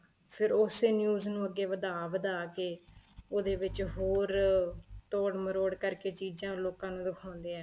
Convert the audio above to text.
ਫ਼ਿਰ ਉਸੇ news ਨੂੰ ਅੱਗੇ ਵੱਧਾ ਵੱਧਾ ਕੇ ਉਹਦੇ ਵਿੱਚ ਹੋਰ ਤੋੜਮਰੋੜ ਕਰਕੇ ਚੀਜ਼ਾਂ ਲੋਕਾਂ ਨੂੰ ਦਿਖਾਉਦੇ ਏ